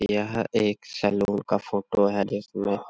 यह एक सलून का फोटो है जिसमें --